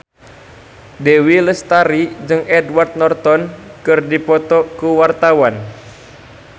Dewi Lestari jeung Edward Norton keur dipoto ku wartawan